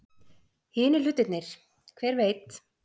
Hinir hlutirnir. hver veit?